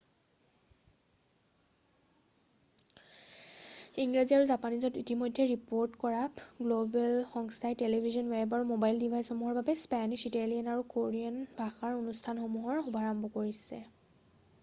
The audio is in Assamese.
ইংৰাজী আৰু জাপানীজত ইতিমধ্যেই ৰিপৰ্ট কৰা গ্ল'বেল সংস্থাই টেলিভিছন ৱেব আৰু ম'বাইল ডিভাইচসমূহৰ বাবে স্পেনিছ ইটালিয়ান আৰু কোৰিয়ান ভাষাৰ অনুষ্ঠানসমূহৰ শুভাৰম্ভ কৰিছে৷